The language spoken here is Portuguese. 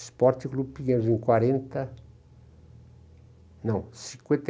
Esporte Clube Pinheiros, em quarenta... Não, cinquenta e